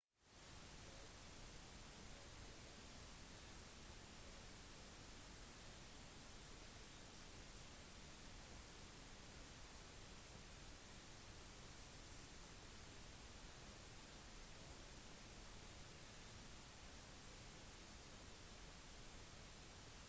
vedrørende den verdensomspennende finansielle situasjonen fortsatte zapatero med å fortelle at «økonomisystemet er en del av økonomien en avgjørende del